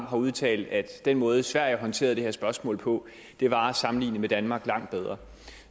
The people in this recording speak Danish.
har udtalt at den måde sverige håndterede det her spørgsmål på var at sammenligne med danmark langt bedre